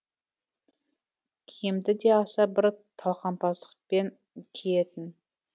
киімді де аса бір талғампаздықпен киетін